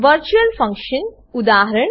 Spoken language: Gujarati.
virtual function virtual function